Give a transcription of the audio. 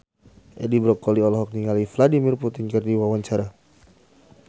Edi Brokoli olohok ningali Vladimir Putin keur diwawancara